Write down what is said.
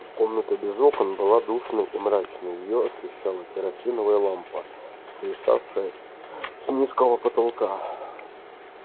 комната без окон была душной и мрачной её освещала керосиновая лампа свисавшая с низкого потолка